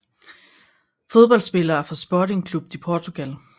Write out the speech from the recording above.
Fodboldspillere fra Sporting Clube de Portugal